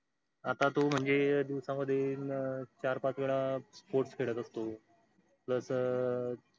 आता तो म्हणजे दिवसामधील चार पाच वेळा sports खेळात असतो. plus